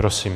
Prosím.